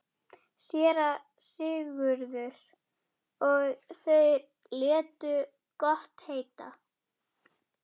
SÉRA SIGURÐUR: Og þeir létu gott heita?